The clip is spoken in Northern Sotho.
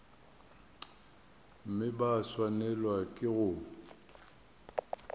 mme ba swanelwa ke go